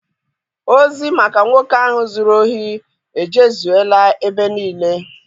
Ozi maka nwoke ahụ zụrụ ohi ejezuela ebe niile.